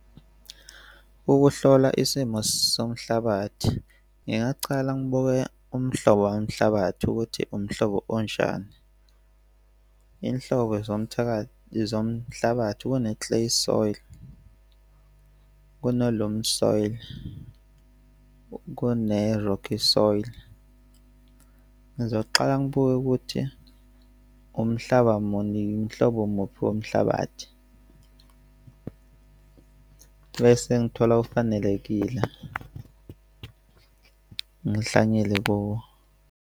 Ukuhlola isimo somhlabathi. Ngingacala ngibuke umhlobo womhlabathi ukuthi umhlobo onjani inhlobo zomhlabathi kune-clay soil, kune-loamy soil, kune-rocky soil. Ngizoqala ngibuke ukuthi umhlaba muni, umhlobo muphi womhlabathi bese ngithola ofanelekile, ngihlanyele kuwo.